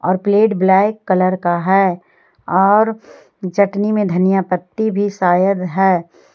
और plate black colour का है और चटनी में धनिया पत्ती भी शायद है।